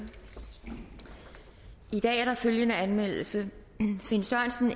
i dag er der følgende anmeldelse finn sørensen